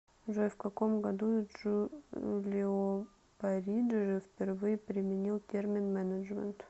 джой в каком году джулио париджи впервые применил термин менеджмент